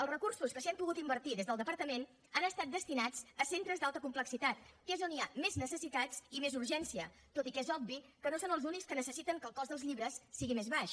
els recursos que s’hi han pogut invertir des del departament han estat destinats a centres d’alta complexitat que és on hi ha més necessitats i més urgència tot i que és obvi que no són els únics que necessiten que el cost dels llibres sigui més baix